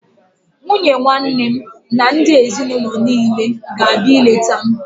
Nwunye nwanne m na ndị ezinaụlọ niile ga-abịa ileta m